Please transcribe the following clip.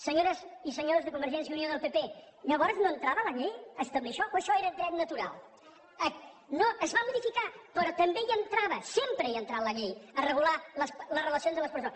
senyores i senyors de convergència i unió del pp llavors no entrava la llei a establir això o això era dret natural no es va modificar però també hi entrava sempre hi ha entrat la llei a regular les relacions de les persones